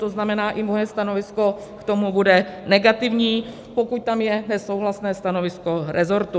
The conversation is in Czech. To znamená, i moje stanovisko k tomu bude negativní, pokud tam je nesouhlasné stanovisko resortu.